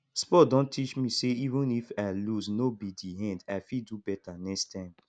sport don teach me say even if i loose no be di end i fit do better next time